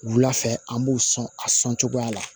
Wula fɛ an b'u sɔn a sɔn cogoya la